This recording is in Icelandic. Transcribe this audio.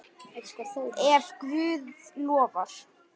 Ef Guð lofar.